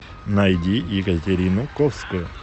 найди екатерину ковскую